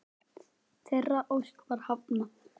Þeirri ósk var hafnað.